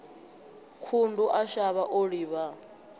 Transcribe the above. khundu a shavha o livha